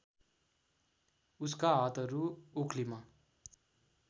उसका हातहरू ओख्लीमा